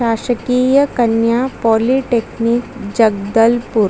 शाशकीय कन्या पॉलिटेक्निक जगदलपुर--